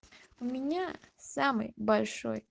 у меня самый большой